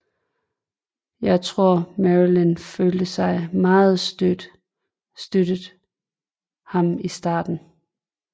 Jeg tror marilyn følte sig meget støttet ham i starten